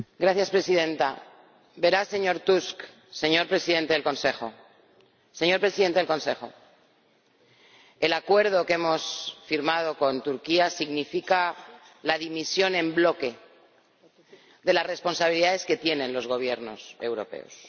Señora Presidenta, verá señor Tusk, señor Presidente del Consejo, el Acuerdo que hemos firmado con Turquía significa la dimisión en bloque de las responsabilidades que tienen los gobiernos europeos.